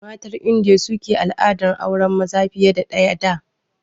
Matan Indiya su ke al'adar auren maza fiye da ɗaya da